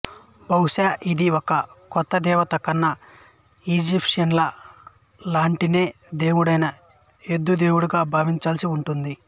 బహుశా ఇది ఒక కొత్త దేవత కన్నా ఈజిప్షిన్లేదా లెవంటైన్ దేవుడైన ఎద్దు దేవుడిగా భావించాల్సి వుంటుంది